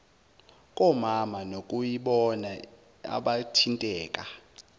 komama nokuyibona abathinteka